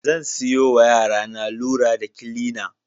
Zan siyowa yarana lura da kilina.